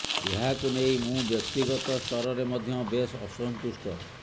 ଏହାକୁ ନେଇ ମୁଁ ବ୍ୟକ୍ତିଗତ ସ୍ତରରେ ମଧ୍ୟ ବେଶ ଅସନ୍ତୁଷ୍ଟ